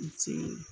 N ce